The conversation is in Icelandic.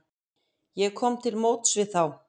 Ég kom til móts við þá.